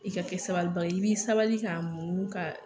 I ka kɛ sabali baga ye i be sabali k'a muɲun ka